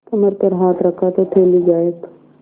कमर पर हाथ रखा तो थैली गायब